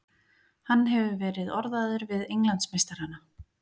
Hann hefur verið orðaður við Englandsmeistarana.